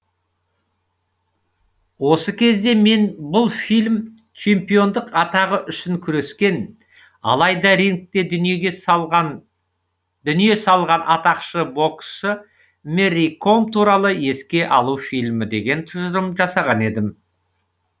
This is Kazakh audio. осы кезде мен бұл фильм чемпиондық атағы үшін күрескен алайда рингте дүние салған атақты боксшы мэри ком туралы еске алу фильмі деген тұжырым жасаған едім